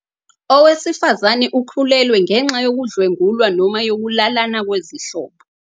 Owesifazane ukhulelwe ngenxa yokudlwengulwa noma yokulalana kwezihlobo.